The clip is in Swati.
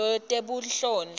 lwetebunhloli